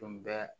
Tun bɛ